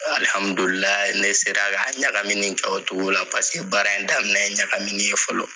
Alihamudulila ne sera ka ɲagaminikɛ o togo la, paseke baara in daminɛ ye ɲagamini ye fɔlɔ.